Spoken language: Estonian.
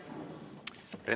Aitäh!